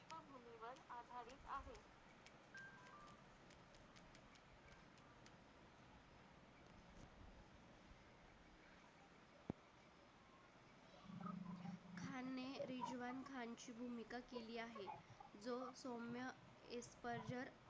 सौम्य एक पर्ज